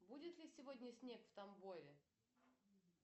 будет ли сегодня снег в тамбове